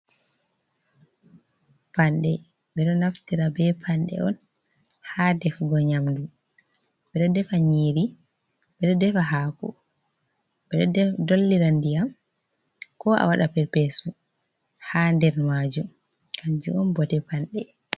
Panɗe ɓe ɗo naftira be panɗe on ha ɗefugo nyamdu ɓe ɗo ɗefa nyiiri ɓe ɗo ɗefa haku ɓe ɗo ɗollira ndiyam ko a waɗa perpe'esu ha nɗer majum kanju on bote panɗe.